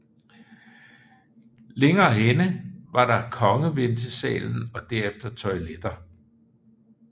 Længere henne var der kongeventesalen og derefter toiletter